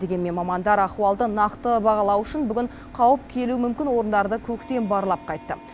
дегенмен мамандар ахуалды нақты бағалау үшін бүгін қауіп келуі мүмкін орындарды көктен барлап қайтты